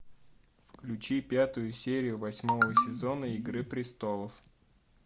включи пятую серию восьмого сезона игры престолов